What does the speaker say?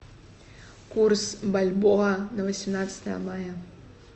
курс бальбоа на восемнадцатое мая